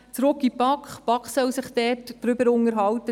Zurück in die BaK, diese soll sich darüber unterhalten.